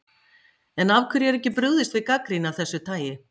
En af hverju er ekki brugðist við gagnrýni af þessu tagi?